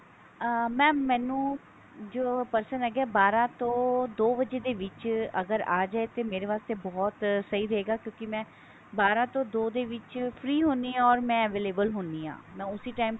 ਅਹ mam ਮੈਨੂੰ ਜੋ ਪਸੰਦ ਹੈਗੇ ਬਾਰਹ ਤੋਂ ਦੋ ਵਜੇ ਦੇ ਵਿੱਚ ਅਗਰ ਆ ਜਾਏ ਤੇ ਮੇਰੇ ਵਾਸਤੇ ਬਹੁਤ ਸਹੀ ਰਹੇਗਾ ਕਿਉਕਿ ਮੈਂ ਬਾਰਹ ਤੋਂ ਦੋ ਦੇ ਵਿੱਚ free ਹੁੰਦੀ ਹਾਂ or ਮੈਂ available ਹੁੰਦੀ ਹਾਂ ਮੈਂ ਉਸੀ time